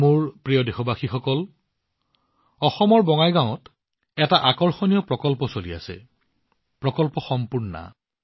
মোৰ মৰমৰ দেশবাসীসকল অসমৰ বঙাইগাঁৱত এটা আকৰ্ষণীয় প্ৰকল্প চলি আছে প্ৰকল্প সম্পূৰ্ণা